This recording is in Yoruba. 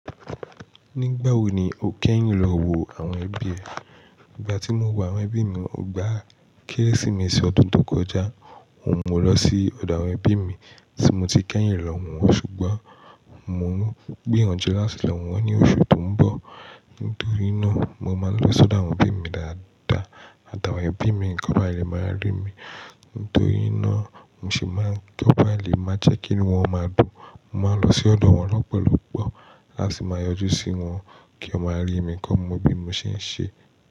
Nígbà wo ni o kẹ́yìn lọ wo àwọn ẹbí ẹ? Ìgbà tí mo wọ àwọn ẹbí mi, ògbá Kérésìmesì ọdún tó kọjá. Mo wọ̀ lọ sí ọ̀dọ̀ àwọn ẹbí mi tí mo ti kẹ́yìn lọ wọ́n, ṣùgbọ́n mo ń gbé àwọn jẹlá sì lọ wọ́n ní oṣù tó ń bọ̀. Nítorí náà, mo máa ń lọ sí ọ̀dọ̀ àwọn ẹbí mi dáadáa, àtàwọn ẹbí mi nìkan ni a lè máa rí mi. Nítorí náà, n ṣì máa ń kọ́ pé a lè máa jẹ́ kí ni wọ́n máa dùn. Mo máa ń lọ sí ọ̀dọ̀ wọn lọ́pọ̀lọ́pọ̀, láti máa yọjú sí wọn kí wọ́n máa rí mi kọ́ mo bí mo ṣe ń ṣe.